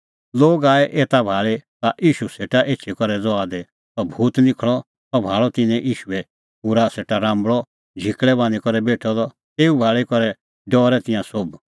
लोग आऐ एता भाल़ै ता ईशू सेटा एछी करै ज़हा दी सह भूत निखल़अ त सह भाल़अ तिन्नैं ईशूए खूरा सेटा राम्बल़अ झिकल़ै बान्हीं बेठअ द तेऊ भाल़ी करै डरै तिंयां सोभ